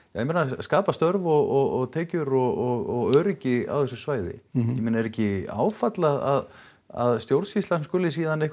skapað störf og tekjur og öryggi á þessu svæði er ekki áfall að að stjórnsýslan skuli